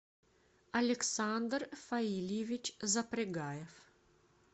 александр фаильевич запрягаев